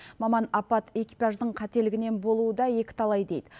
маман апат экипаждың қателігінен болуы да екіталай дейді